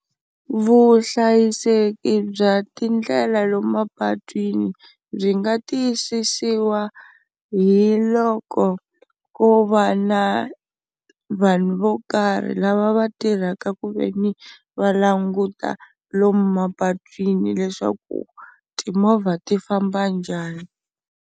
Vuhlayiseki bya tindlela lomu mapatwini byi nga tiyisisiwa hi loko ku va na vanhu vo karhi lava va tirhaka ku ve ni va languta lomu mapatwini leswaku timovha ti famba njhani.